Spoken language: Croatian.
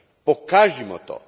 Pokažimo to!